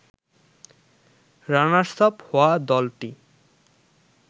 runners up হওয়া দলটি